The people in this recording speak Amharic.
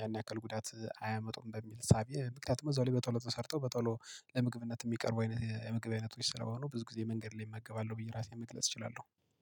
ያን ያክል ጉዳት አያመጡም። በሚል ሳቢየ ምክንያቱም እዛው ላይ በቶሎ ተሰርተው በቶሎ ለምግብነት የሚቀርቡ አይነት የምግብ አይነቶች ስለሆኑ ብዙ ጊዜ መንገድ ላይ እመገባለሁ ብዬ ራሴን መግለጽ እችላለሁ